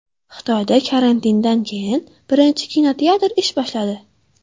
Xitoyda karantindan keyin birinchi kinoteatr ish boshladi.